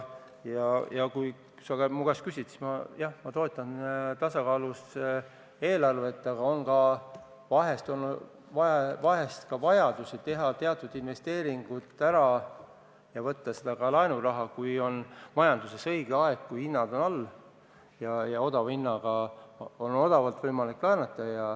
Kui sa nüüd minu käest küsid, siis jah, ma toetan tasakaalus eelarvet, aga vahel on vajadus teatud investeeringud ära teha ja võtta selleks ka laenu, kui on majanduses õige aeg, kui hinnad on all ja odavalt on võimalik laenata.